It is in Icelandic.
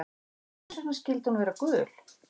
En hvers vegna skyldi hún vera gul?